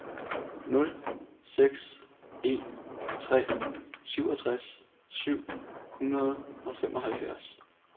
nul seks en tre syvogtres syv hundrede og femoghalvfjerds